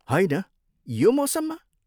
होइन, यो मौसममा?